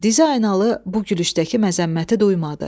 Diz aynalı bu gülüşdəki məzəmməti duymadı.